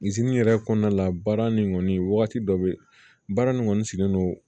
zeni yɛrɛ kɔnɔna la baara nin kɔni wagati dɔ bɛ baara nin kɔni sigilen don